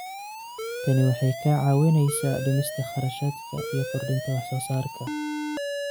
Tani waxay kaa caawinaysaa dhimista kharashaadka iyo kordhinta wax soo saarka.